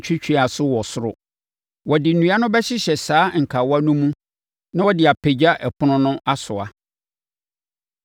twɛtwɛwaso wɔ soro. Wɔde nnua no bɛhyehyɛ saa nkawa no mu na wɔde apagya ɛpono no asoa.